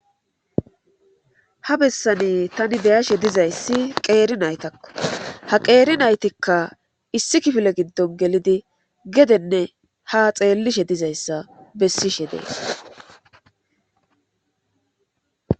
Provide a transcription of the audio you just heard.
Ha bessani tani deyashe dizayssi qeeri naytakko ha qeeri naytikka issi kifile giddon gelidi gedenne ha xeellishe dizayssa bessishe dees